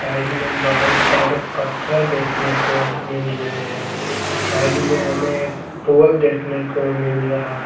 Side में बहुत सारे पत्थर देखने को मिल रहे हैं साइड में हमें एक पोल देखने को मिल रहा हैं।